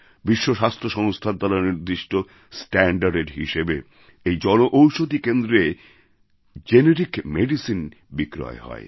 বিশ্ব স্বাস্থ্য সংস্থার দ্বারা নির্দিষ্ট standardএর হিসাবে এই জনঔষধী কেন্দ্রে জেনেরিক মেডিসিন বিক্রয় হয়